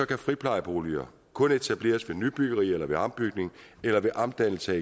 kan friplejeboliger kun etableres ved nybyggerier eller ved ombygning eller omdannelse